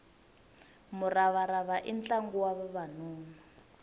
muravarava i ntlangu wa vavanuna